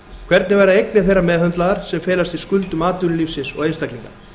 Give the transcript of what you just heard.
hvernig verða eignir þeirra meðhöndlaðar sem felast í skuldum atvinnulífsins og einstaklinga